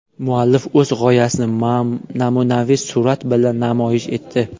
Muallif o‘z g‘oyasini namunaviy surat bilan namoyish etdi.